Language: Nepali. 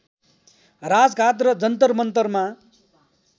राजघाट र जन्तरमन्तरमा